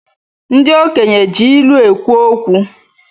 Ndi okenye ji ilu ekwu okwu